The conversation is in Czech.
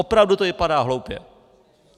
Opravdu to vypadá hloupě.